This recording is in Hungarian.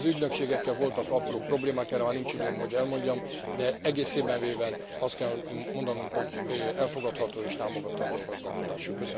Az ügynökségekkel voltak apró problémák, erre már nincs időm, hogy elmondjam, de egészében véve azt kell mondanunk, hogy elfogadható és támogatandó a gazdálkodásuk.